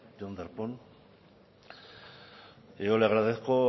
señor darpón yo le agradezco